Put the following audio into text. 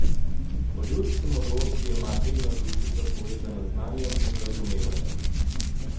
Po ljudski modrosti je materina dušica povezana z znanjem in razumevanjem.